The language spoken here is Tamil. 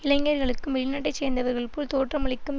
இளைஞர்களுக்கும் வெளிநாட்டை சேர்ந்தவர்கள் போல் தோற்றமளிக்கும்